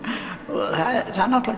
það er